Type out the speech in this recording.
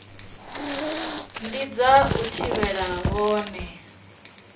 ndi dza u thivhela vhone